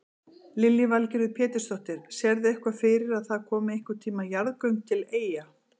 Lillý Valgerður Pétursdóttir: Sérðu eitthvað fyrir að það komi einhvern tíman jarðgöng til Eyja?